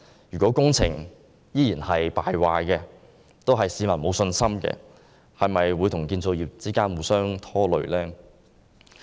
如果工程依然敗壞，令市民沒有信心，會否與建造業互相拖累？